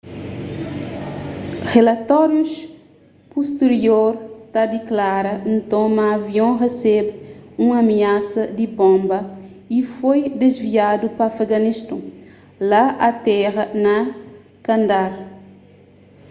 rilatórius pustirior ta diklara nton ma avion resebe un amiasa di bonba y foi disviadu pa afeganiston ta atera na kandahar